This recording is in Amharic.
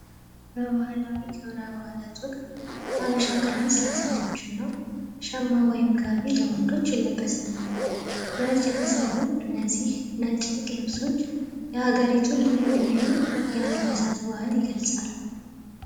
በባህላዊ በአላት ወቅት ሐበሻ ቀሚስ ለሴቶችና ሸማ ወይም ለወንዶች የሚለበስ ነው በነጭ ተሠሩ እነዚህ ነጭ የተቀለብሶች የሀገሪቱ ልዩ ልዩ የአልባሳት ባህል ይገልፃሉ እና በባህላት ወቅት ሀበሻ ቀሚስ ለሴቶችና ሸማ ወይም ጋቢ ወንዶች ይለብሳሉ። በእጄ ተሰሩ እነዚህ ነጭ ልብሶች የሀገሪቱን ልዩ ልዩ አልባሳት ይገልፃሉ።